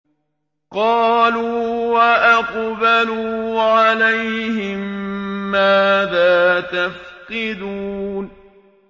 قَالُوا وَأَقْبَلُوا عَلَيْهِم مَّاذَا تَفْقِدُونَ